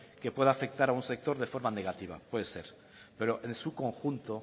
que puede afectar a un sector de forma negativa puede ser pero en su conjunto